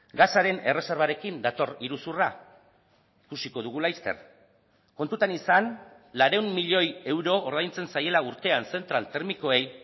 gasaren erreserbarekin dator iruzurra ikusiko dugu laster kontutan izan laurehun milioi euro ordaintzen zaiela urtean zentral termikoei